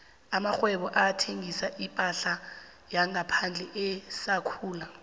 amakghwebo athengisa iphahla yangaphandle asakhula